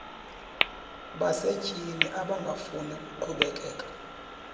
basetyhini abangafuni kuqhubekeka